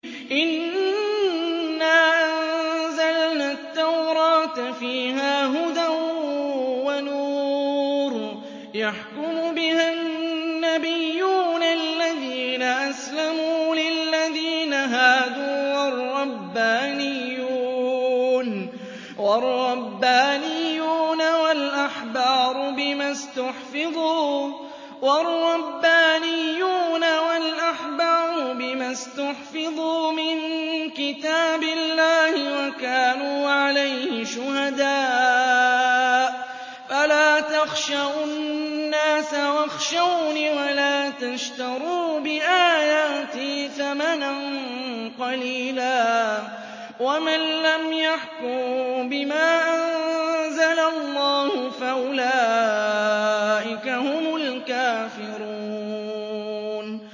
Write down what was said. إِنَّا أَنزَلْنَا التَّوْرَاةَ فِيهَا هُدًى وَنُورٌ ۚ يَحْكُمُ بِهَا النَّبِيُّونَ الَّذِينَ أَسْلَمُوا لِلَّذِينَ هَادُوا وَالرَّبَّانِيُّونَ وَالْأَحْبَارُ بِمَا اسْتُحْفِظُوا مِن كِتَابِ اللَّهِ وَكَانُوا عَلَيْهِ شُهَدَاءَ ۚ فَلَا تَخْشَوُا النَّاسَ وَاخْشَوْنِ وَلَا تَشْتَرُوا بِآيَاتِي ثَمَنًا قَلِيلًا ۚ وَمَن لَّمْ يَحْكُم بِمَا أَنزَلَ اللَّهُ فَأُولَٰئِكَ هُمُ الْكَافِرُونَ